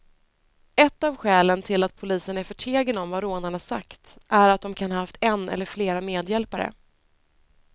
Ett av skälen till att polisen är förtegen om vad rånarna sagt är att de kan ha haft en eller flera medhjälpare.